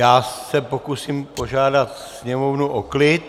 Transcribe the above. Já se pokusím požádat sněmovnu o klid.